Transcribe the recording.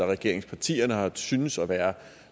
regeringspartierne har syntes at være